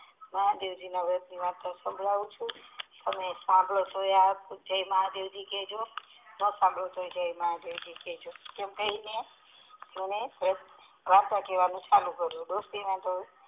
મહાદેવજી વ્રત ના વાર્તા સાંભળવું છું અને અને સાંભળી ને જાય મહાદેવજી કેહજો એમ કહી વાર્તા કેવાનું ચાલુ કરિયું.